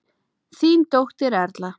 Þín dóttir Erla.